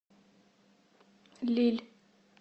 лилль